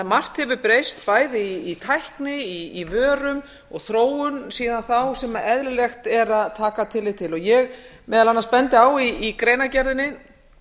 margt hefur breyst bæði í tækni í vörum og þróun síðan þá sem eðlilegt er að taka tillit til ég bendi meðal annars á í greinargerðinni